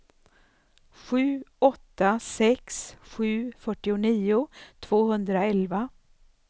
sju åtta sex sju fyrtionio tvåhundraelva